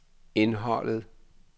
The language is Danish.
indholdet